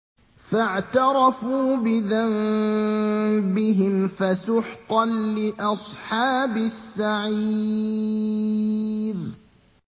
فَاعْتَرَفُوا بِذَنبِهِمْ فَسُحْقًا لِّأَصْحَابِ السَّعِيرِ